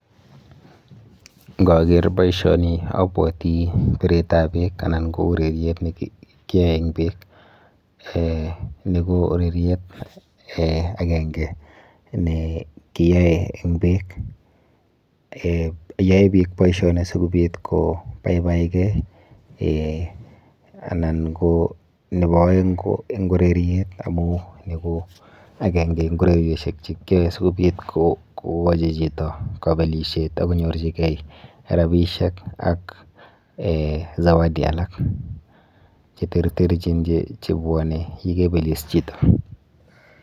Ng'oker boishoni abwotii bireetab beek anan ko ureriet nekiyoe en beek, nii ko ureriet akeng'e nee kiyoe en beek, yoe biik boishonik sikobit kobaibaikee anan ko nebo oeng ko ureriet amun nii ko akeng'e en orerioshek sikobit ko kobelishet akonyorchike rabishek ak zawadi cheterterchin chebwone yeibelis chito.